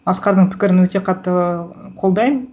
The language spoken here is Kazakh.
асқардың пікірін өте қатты қолдаймын